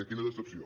quina decepció